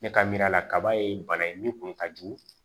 Ne ka miiria la kaba ye bana ye min kun ka jugu